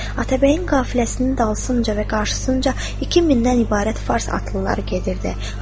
Atabəyin qəfiləsinin dalsınca və qarşısınca 2000-dən ibarət fars atlıları gedirdi.